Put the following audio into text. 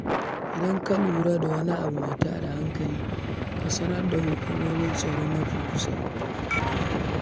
Idan ka lura da wani abu mai ta da hankali, ka sanar da hukumomin tsaro mafi kusa.